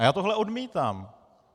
A já tohle odmítám.